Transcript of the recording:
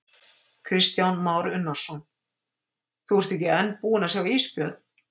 Kristján Már Unnarsson: Þú ert ekki enn búinn að sjá ísbjörn?